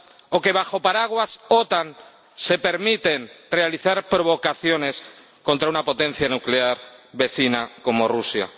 o que, bajo el paraguas de la OTAN, se permiten realizar provocaciones contra una potencia nuclear vecina como Rusia.